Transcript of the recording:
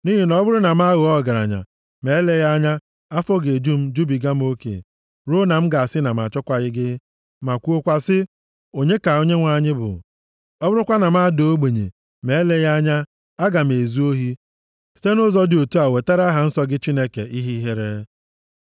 Nʼihi na, ọ bụrụ na m aghọọ ọgaranya, ma eleghị anya, afọ ga-eju m, jubiga m oke, ruo na m ga-asị na m achọkwaghị gị ma kwuokwa si, ‘Onye ka Onyenwe anyị bụ?’ Ọ bụrụkwa na m adaa ogbenye, ma eleghị anya, aga m ezu ohi, site nʼụzọ dị otu a, wetara aha nsọ gị Chineke, ihe ihere.